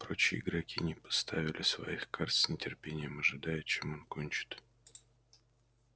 прочие игроки не поставили своих карт с нетерпением ожидая чем он кончит